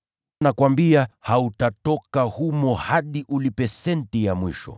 Nakuambia, hautatoka humo hadi uwe umelipa senti ya mwisho.”